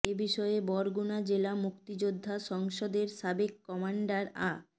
এ বিষয়ে বরগুনা জেলা মুক্তিযোদ্ধা সংসদের সাবেক কমান্ডার আ